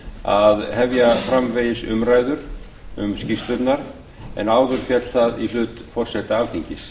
að hefja framvegis umræður um skýrslurnar en áður féll það í hlut forseta alþingis